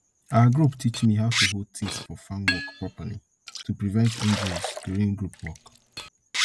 our group teach me how to hold things for farm work properly to prevent injuries during group work